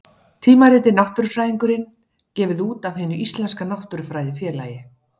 Tímaritið Náttúrufræðingurinn, gefið út af Hinu íslenska náttúrufræðifélagi.